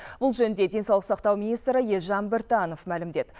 бұл жөнінде денсаулық сақтау министрі елжан біртанов мәлімдеді